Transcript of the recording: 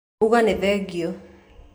Uga nĩ thengiũ